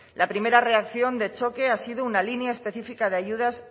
la primera reacción de choque ha sido una línea específica de ayudas